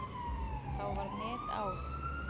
Þá var metár.